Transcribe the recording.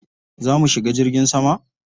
Za mu shiga jirgin sama?